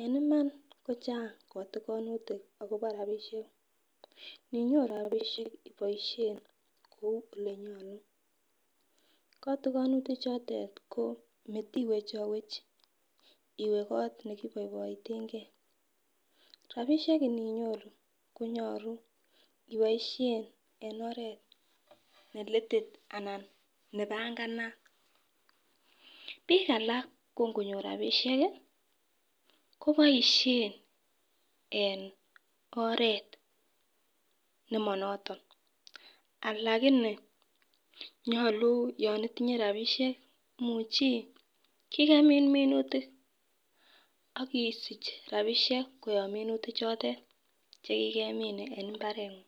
En Iman kocheng kotikinutik akobo rabishek ninyoru rabishek iboishen kou olenyolu kotikinutik chotete ko motiwechowech iwee kot nekiboiboiten gee , rabishek inyoru konyolu iboishen en oret nelitit anan nepanganat, bik alak ko ngonyor rabishek kii koboishen en oret nemonoto lakini nyolu yon itinye rabinishek imuchi kikemin minutik ak isich rabishek koyob minutik chotet chekikemin en imabrenyun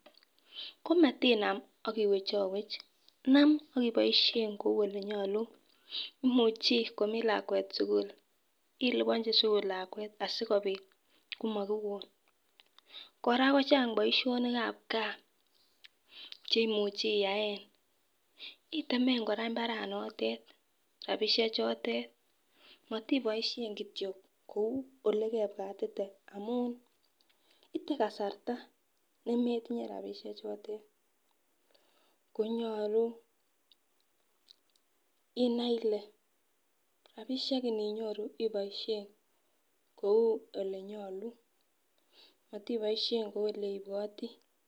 komatinam ak iwechowech nam ak iboishen kou olenyolu imuchi komii lakwet sukul iliponchi sukul lakwet asikopit komokiwon. Koraa kocheng boishonikab gaa cheimuche iyae itemen koraa imabaranotet rabishek chotet motiboishen kityok kou ole kebwatite amun item kasarta nemetinye rabishek chotet konyolu inei ile rabishek inyoru iboishen kou olenyolu motiboishen kou ole ibwotii.